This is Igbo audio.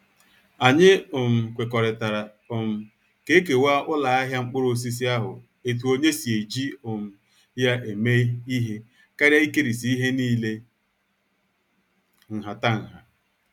Anyị um kwekọrịtara um ka- ekewa uloahia mkpuruosisi ahụ etu onye si eji um ya eme ihe karịa ikerisi ihe niile nhatanha